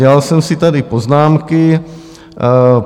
Dělal jsem si tady poznámky.